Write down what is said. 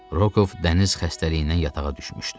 Rokoov dəniz xəstəliyindən yatağa düşmüşdü.